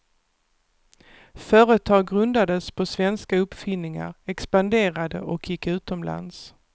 Företag grundades på svenska uppfinningar, expanderade och gick utomlands.